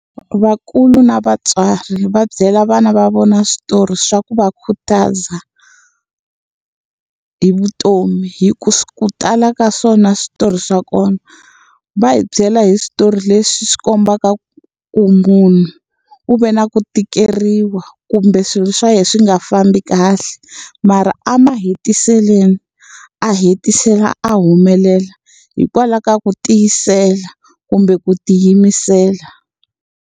Vakulu na vatswari va byela vana va vona switori swa ku va khutaza, hi vutomi. Hikuva ku tala ka swona switori swa kona, va hi byela hi switori leswi swi kombaka ku munhu u ve na ku tikeriwa kumbe swilo swa yena swi nga fambi kahle. Mara emahetiselweni a hetisela a humelela, hikwalaho ka ku tiyisela kumbe ku tiyimisela.